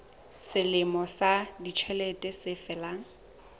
selemo sa ditjhelete se felang